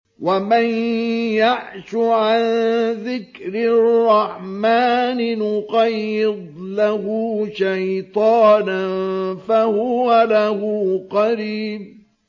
وَمَن يَعْشُ عَن ذِكْرِ الرَّحْمَٰنِ نُقَيِّضْ لَهُ شَيْطَانًا فَهُوَ لَهُ قَرِينٌ